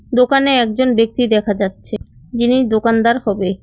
দোকানে একজন ব্যাক্তি দেখা যাচ্ছে যিনি দোকানদার হবে।